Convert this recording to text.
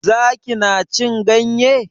Zaki na cin ganye?